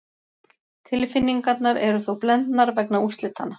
Tilfinningarnar eru þó blendar vegna úrslitanna.